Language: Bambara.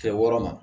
Kɛ wɔɔrɔ ma